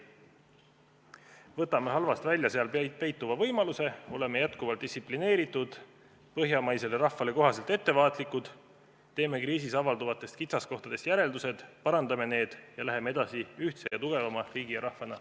Võtame halvast välja seal peituva võimaluse, oleme jätkuvalt distsiplineeritud, põhjamaisele rahvale kohaselt ettevaatlikud, teeme kriisis avalduvatest kitsaskohtadest järeldused, parandame need ning läheme edasi ühtse ja tugevama riigi ja rahvana.